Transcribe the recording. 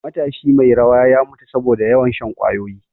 Matashi mai rawa ya mutu saboda yawan shan ƙwayoyi